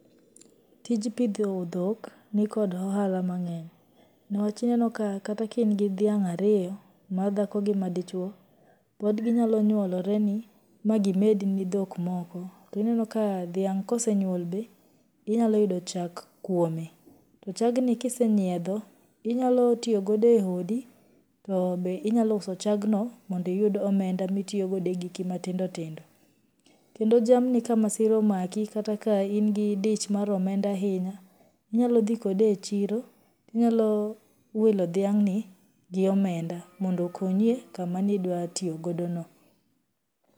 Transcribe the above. Tij pidho dhok nikod ohala mang'eny, niwach ineno kata ka in gi dhiang' ariyo, madhako ki ma dichuo, pod ginyalonyuoloreni ma gimedni dhok moko, to ineno ka dhiang' ka osenyuol be to inyalo yudo chak kuome, to chagni ka isenyiedho inyalo tiyogodo e odi to be inyalouso chagno mondo iyud omenda ma itiiyogodo e giki matindotindo, kendo jamni ka masira omaki kata ka in gi dich mar omenda ahinya, inyalodhii kode e chiro to inyalowilo dhiang'ni gi omenda mondo okonyie kamani dwatiyogodo no.